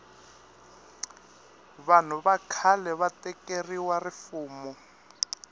vahnu va khale va tekeriwe rifumo